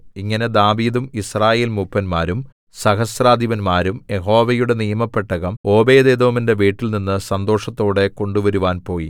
ഇങ്ങനെ ദാവീദും യിസ്രായേൽ മൂപ്പന്മാരും സഹസ്രാധിപന്മാരും യഹോവയുടെ നിയമപെട്ടകം ഓബേദ്ഏദോമിന്റെ വീട്ടിൽനിന്ന് സന്തോഷത്തോടെ കൊണ്ടുവരുവാൻ പോയി